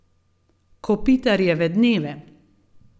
Kopitarjeve dneve.